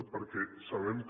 perquè sabem que